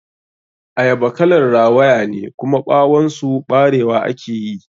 Ayaba kalar rawayane, kuma ɓawon su ɓarewa ake yi.